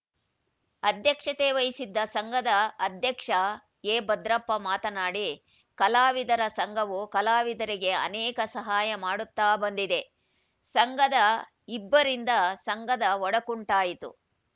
ಅಧ್ಯಕ್ಷತೆ ವಹಿಸಿದ್ದ ಸಂಘದ ಅಧ್ಯಕ್ಷ ಎಭದ್ರಪ್ಪ ಮಾತನಾಡಿ ಕಲಾವಿದರ ಸಂಘವು ಕಲಾವಿದರಿಗೆ ಅನೇಕ ಸಹಾಯ ಮಾಡುತ್ತಾ ಬಂದಿದೆ ಸಂಘದ ಇಬ್ಬರಿಂದ ಸಂಘದ ಒಡಕುಂಟಾಯಿತು